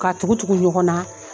Ka tugu tugu ɲɔgɔn na.